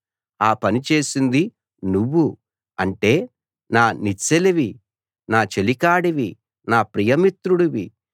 ఆ పని చేసింది నువ్వు అంటే నా నెచ్చెలివి నా చెలికాడివి నా ప్రియమిత్రుడివి